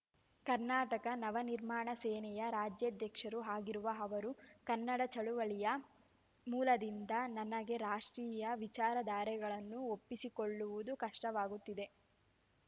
ಕರ್ನಾಟಕ ನವನಿರ್ಮಾಣ ಸೇನೆಯ ರಾಜ್ಯಾಧ್ಯಕ್ಷರೂ ಆಗಿರುವ ಅವರು ಕನ್ನಡ ಚಳವಳಿಯ ಮೂಲದಿಂದ ನನಗೆ ರಾಷ್ಟ್ರೀಯ ವಿಚಾರಧಾರೆಗಳನ್ನು ಒಪ್ಪಿಕೊಳ್ಳುವುದು ಕಷ್ಟವಾಗುತ್ತಿದೆ